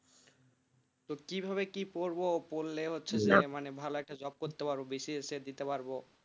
তো কি ভাবে কি করবো পড়লে হচ্ছে যে মানে ভাল একটা job করতে পারবো বি সি এস সি দিতে পারবো।